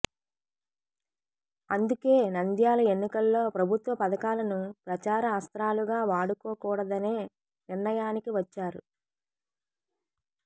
అందుకే నంద్యాల ఎన్నికల్లో ప్రభుత్వ పథకాలను ప్రచార అస్త్రాలుగా వాడుకోకూడదనే నిర్ణయానికి వచ్చారు